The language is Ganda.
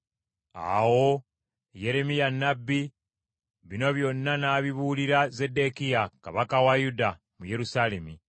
Awo Yeremiya nnabbi bino byonna n’abibuulira Zeddekiya kabaka wa Yuda, mu Yerusaalemi,